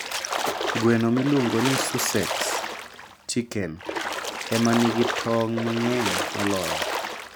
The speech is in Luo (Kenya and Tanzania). Gweno miluongo ni Sussex chicken, ema nigi tong' mang'eny moloyo.